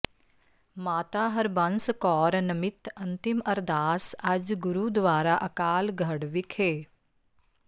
ਮਾਤਾ ਹਰਬੰਸ ਕੌਰ ਨਮਿਤ ਅੰਤਿਮ ਅਰਦਾਸ ਅੱਜ ਗੁਰੂਦੁਆਰਾ ਅਕਾਲਗੜ੍ਹ ਵਿਖੇ